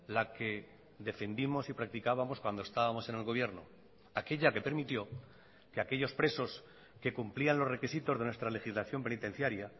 la que defendimos y practicábamos cuando estábamos en el gobierno aquella que permitió que aquellos presos que cumplían los requisitos de nuestra legislación penitenciaria